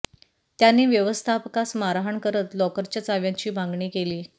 त्यांनी व्यवस्थापकास मारहाण करत लॉकरच्या चाव्यांची मागणी केली